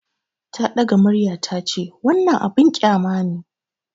Ta ɗaga murya ta ce, "Wannan abin kyama ne!"